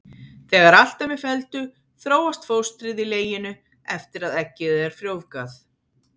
Þegar allt er með felldu þróast fóstrið í leginu eftir að eggið er frjóvgað.